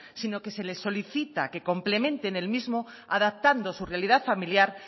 sino que se les solicita que complementen el mismo adaptando su realidad familiar